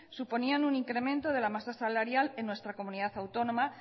suponían un incremento de la masa salarial en nuestra comunidad autónoma